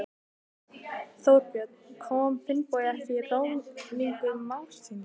Þorbjörn: Kom Finnbogi ekki að ráðningu mágs síns?